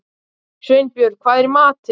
Sveinbjörg, hvað er í matinn?